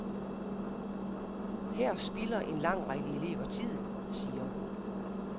Her spilder en lang række elever tiden, siger hun.